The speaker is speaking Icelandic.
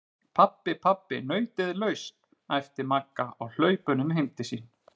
Pabbi, pabbi nautið er laust! æpti Magga á hlaupunum heim til sín.